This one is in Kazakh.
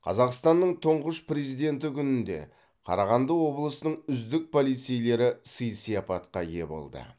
қазақстанның тұңғыш президенті күнінде қарағанды облысының үздік полицейлері сый сияпатқа ие болды